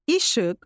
İşıq